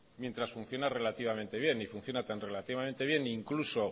mientras funcione relativamente bien y funciona tan relativamente bien e incluso